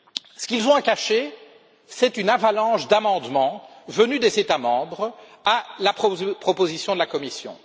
Ce qu'ils ont à cacher, c'est une avalanche d'amendements venus des États membres à la proposition de la Commission.